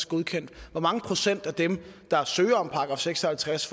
godkendt og hvor mange procent af dem der søger om en § seks og halvtreds